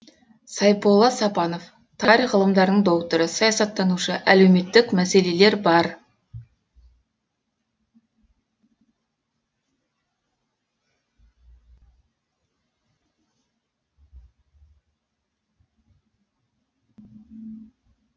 сайполла сапанов тарих ғылымдарының докторы саясаттанушы әлеуметтік мәселелер бар